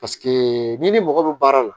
n'i ni mɔgɔ bɛ baara la